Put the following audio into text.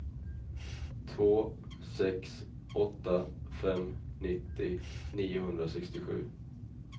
två sex åtta fem nittio niohundrasextiosju